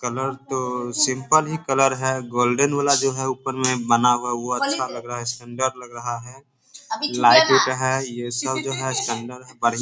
Colour तो simple ही colour है। गोल्डन वाला जो है ऊपर में बना हुआ है वो अच्छा लग रहा है सुंदर लग रहा है। लाइट उट है। ये सब जो है सुंदर है बढ़िया है।